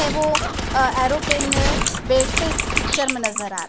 है वो अ एरोप्लेन में बैठते इस पिक्चर में नजर आ र--